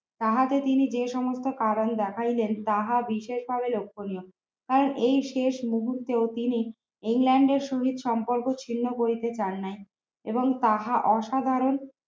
তাহাতে তিনি যে সমস্ত কারণ দেখাইলেন তাহা বিশেষভাবে লক্ষ্যণীয় তার এই শেষ মুহূর্তেও তিনি ইংল্যান্ডের সহীত সম্পর্ক ছিন্ন করিতে চান নাই এবং তাহা অসাধারণ